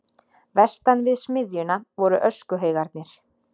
Vestan við smiðjuna voru öskuhaugarnir.